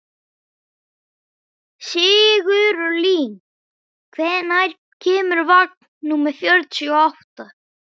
Sigurlín, hvenær kemur vagn númer fjörutíu og átta?